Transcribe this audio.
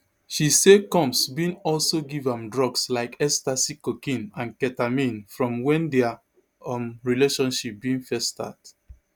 she say combs bin also give am drugs like ecstasy cocaine and ketamine from wen dia um relationship bin first start